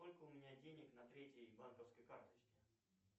сколько у меня денег на третьей банковской карточке